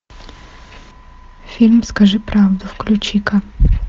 фильм скажи правду включи ка